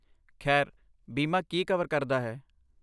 ਖੈਰ, ਬੀਮਾ ਕੀ ਕਵਰ ਕਰਦਾ ਹੈ?